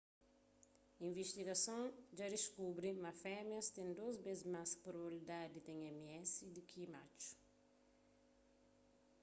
invistigason dja diskubri ma femias ten dôs bês más probabilidadi di ten ms di ki matxu